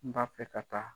N b'a fɛ ka taa